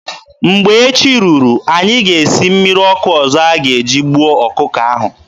Mgbe echi ruru, anyị ga-esi mmiri ọkụ ọzọ a ga-eji gbuo ọkụkọ ahụ.